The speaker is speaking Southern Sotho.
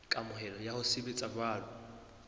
kamohelo ya ho sebetsa jwalo